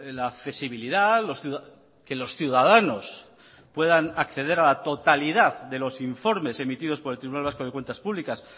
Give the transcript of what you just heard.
la accesibilidad que los ciudadanos puedan acceder a la totalidad de los informes emitidos por el tribunal vasco de cuentas públicas